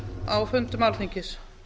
á fundum alþingis